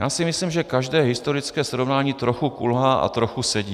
Já si myslím, že každé historické srovnání trochu kulhá a trochu sedí.